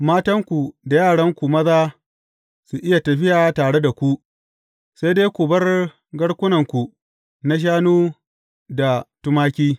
Matanku da yaranku ma za su iya tafiya tare da ku; sai dai ku bar garkunanku na shanu da tumaki.